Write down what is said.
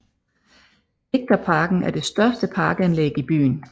Digterparken er det største parkanlæg i byen